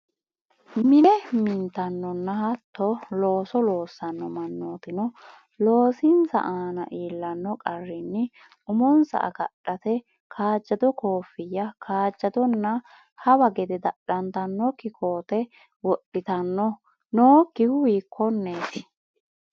Mine mintannonna hattoo looso loossanno mannootino loosinsa aana iillanno qarrinni umonsa agadhate kaajjado koffiya, kaajjadonna hawa gede dadhantannokki koatte wodhitanno, nokkihu hiikkonneeti?